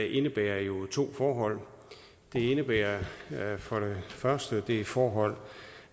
indebærer jo to forhold det indebærer for det første det forhold